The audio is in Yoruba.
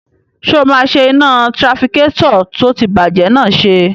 Ṣé o máa ṣe iná tirafikétọ̀ tó ti bàjẹ́ náà ṣe?